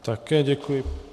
Také děkuji.